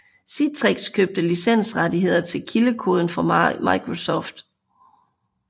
Citrix købte licensrettigheder til kildekoden fra Microsoft